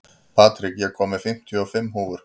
Patrik, ég kom með fimmtíu og fimm húfur!